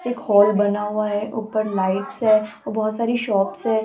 एक हॉल बना हुआ हैं ऊपर लाइट्स है और बहोत सारी शॉप्स हैं।